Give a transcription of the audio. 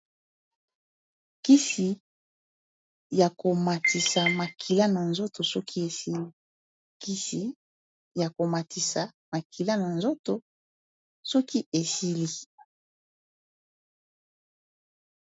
Kisi ya komatisa makila na nzoto soki esili kisi ya komatisa makila na nzoto soki esili